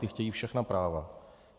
Ti chtějí všechna práva.